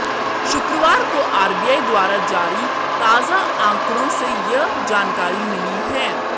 शुक्रवार को आरबीआई द्वारा जारी ताजा आंकड़ों से यह जानकारी मिली है